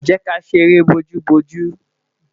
jẹ ká ṣeré bo oju bo oju